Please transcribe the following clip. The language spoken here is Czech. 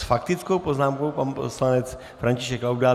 S faktickou poznámkou pan poslanec František Laudát.